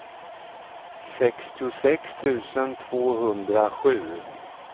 sextiosex tusen tvåhundrasju